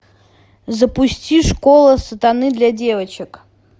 запусти школа сатаны для девочек